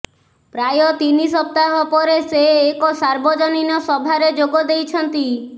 ପ୍ରାୟ ତିନି ସପ୍ତାହ ପରେ ସେ ଏକ ସାର୍ବଜନୀନ ସଭାରେ ଯୋଗ ଦେଇଛନ୍ତି